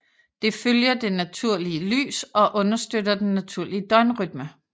Det følger det naturlige lys og understøtter den naturlige døgnrytme